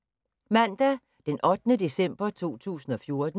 Mandag d. 8. december 2014